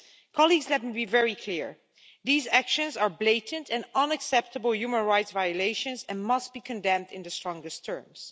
Colleagues, let me be very clear these actions are blatant and unacceptable human rights violations and must be condemned in the strongest terms.